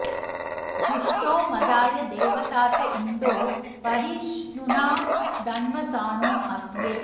जुष्टो मदाय देवतात इन्दो परि ष्णुना धन्व सानो अव्ये